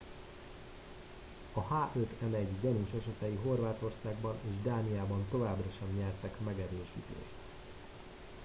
a h5n1 gyanús esetei horvátországban és dániában továbbra sem nyertek megerősítést